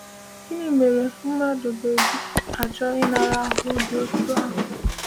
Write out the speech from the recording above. Gịnị mere mmadụ ga eji achọ ịnara ahụhụ dị otú ahụ?